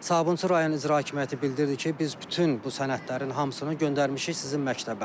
Sabunçu rayon İcra Hakimiyyəti bildirdi ki, biz bütün bu sənədlərin hamısını göndərmişik sizin məktəbə.